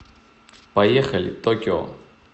поехали токио